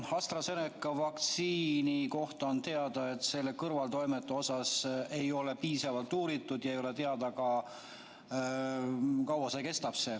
AstraZeneca vaktsiini kohta on teada, et selle kõrvaltoimeid ei ole piisavalt uuritud, ja ei ole teada, kaua selle mõju kestab.